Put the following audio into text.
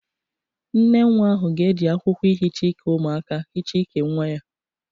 Nnenwa ahụ ga-eji akwụkwọ ihicha ike umụaka hicha ike nwa ya